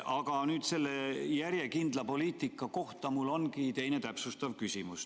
Aga nüüd selle järjekindla poliitika kohta mul ongi täpsustav küsimus.